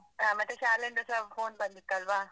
ಆ. ಮತ್ತೆ ಶಾಲೆ ಇಂದ ಸ phone ಬಂದಿತ್ತಲ್ವಾ?